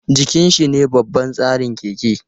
Jikin shine babban tsarin keke.